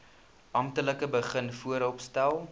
amptelik begin vooropstel